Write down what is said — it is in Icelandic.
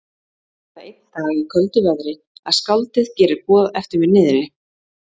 Svo var það einn dag í köldu veðri, að skáldið gerir boð eftir mér niðri.